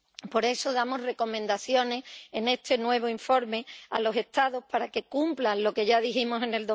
Por eso damos recomendaciones en este nuevo informe a los Estados para que cumplan lo que ya dijimos en